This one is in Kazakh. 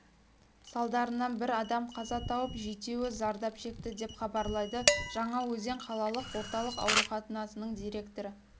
салдарынан бір адам қаза тауып жетеуі зардап шекті деп хабарлайды жаңаөзен қалалық орталық ауруханасының директоры